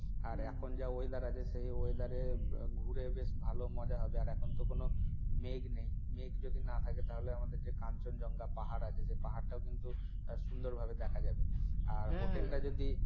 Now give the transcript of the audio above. আর এখন যা weather আছে সেই weather এ ঘুরে বেশ ভালো মজা হবে আর এখন তো কোন মেঘ নেই মেঘ যদি না থাকে তাহলে আমাদের যে Kanchenjunga পাহাড় আছে সে পাহাড়টাও কিন্তু সুন্দর ভাবে দেখা যাবে আর হ্যাঁ হ্যাঁ আর হোটেল টা যদি